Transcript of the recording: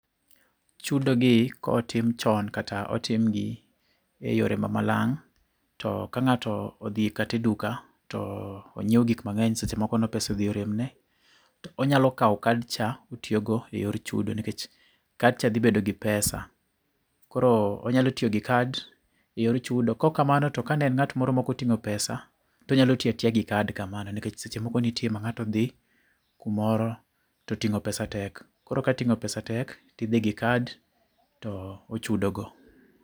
Chudogi kotim chon, kata otim gi eyore mamalang', to ka ng'ato odhi kate e duka, to onyiew gik mang'eny seche moko no pesa odhi oremne, to onyalo kaw card cha otiyogo eyor chudo nikech card cha dhibedo gi pesa. Koro onyalo tiyo gi card eyor chudo. Kokamano to kane en ng'at moro mokoting'o pesa, tonyalo tiyatiya gi card kamano nikech seche moko nitie ma ng'ato odhi kumoro toting'o pesa tek. Koro ka ting'o pesa tek tidhi gi card to ochudo go